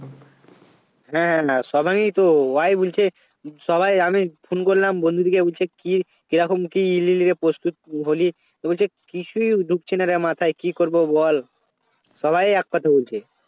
হ্যাঁ না সবারই তো ওরাই বলছে সবাই আমি Phone করলাম বন্ধুদেরকে বলছে কি কিরকম কি লাইগা প্রস্তুত হলি তো বলছে কিছুই ঢুকছে না রে মাথায় কি করবো বল সবাই এক কথা বলছে